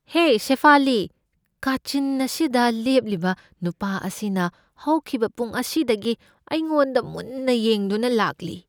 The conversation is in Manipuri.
ꯍꯦ ꯁꯦꯐꯥꯂꯤ, ꯀꯥꯆꯤꯟ ꯑꯁꯤꯗ ꯂꯦꯞꯂꯤꯕ ꯅꯨꯄꯥ ꯑꯁꯤꯅ ꯍꯧꯈꯤꯕ ꯄꯨꯡ ꯑꯁꯤꯗꯒꯤ ꯑꯩꯉꯣꯟꯗ ꯃꯨꯟꯅ ꯌꯦꯡꯗꯨꯅ ꯂꯥꯛꯂꯤ꯫